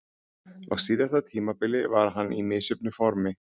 Á síðasta tímabili var hann í misjöfnu formi.